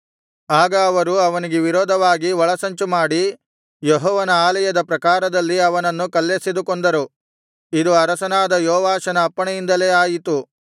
ಆಗ ಅವರು ಅವನಿಗೆ ವಿರೋಧವಾಗಿ ಒಳಸಂಚುಮಾಡಿ ಯೆಹೋವನ ಆಲಯದ ಪ್ರಾಕಾರದಲ್ಲಿ ಅವನನ್ನು ಕಲ್ಲೆಸೆದು ಕೊಂದರು ಇದು ಅರಸನಾದ ಯೆಹೋವಾಷನ ಅಪ್ಪಣೆಯಿಂದಲೇ ಆಯಿತು